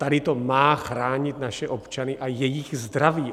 Tady to má chránit naše občany a jejich zdraví.